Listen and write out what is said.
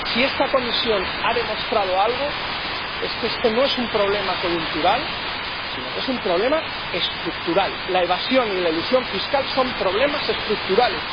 Si esta comisión ha demostrado algo es que este no es un problema coyuntural, sino que es un problema estructural. La evasión y la elusión fiscales son problemas estructurales.